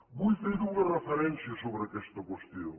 vull fer dues referències sobre aquesta qüestió